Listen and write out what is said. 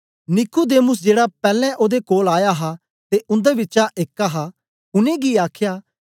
Nicodemus जेड़ा पैलैं ओदे कोल आया हा ते उन्दे बिचा एक हा उनेंगी आखया